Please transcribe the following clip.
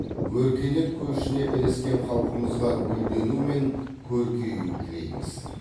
өркениет көшіне ілескен халқымызға гүлдену мен көркею тілейміз